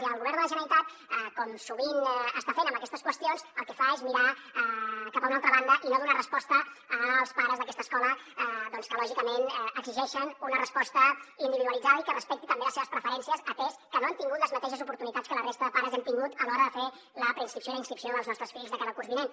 i el govern de la generalitat com sovint està fent amb aquestes qüestions el que fa és mirar cap a una altra banda i no donar resposta als pares d’aquesta escola doncs que lògicament exigeixen una resposta individualitzada i que respecti també les seves preferències atès que no han tingut les mateixes oportunitats que la resta de pares hem tingut a l’hora de fer la preinscripció i la inscripció dels nostres fills de cara al curs vinent